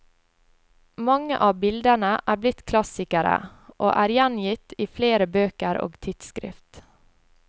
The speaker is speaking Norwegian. Mange av bildene er blitt klassikere og er gjengitt iflere bøker og tidsskrift.